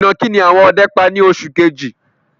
Ìnàkì ni àwọn ọdẹ pa ni oṣù kejì